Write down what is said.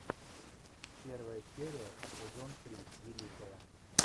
первая серия сезон три великая